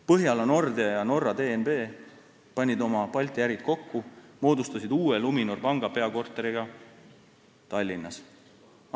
Põhjala Nordea ja Norra DNB panid oma Balti ärid kokku ja moodustasid uue Luminori panga peakorteriga Tallinnas.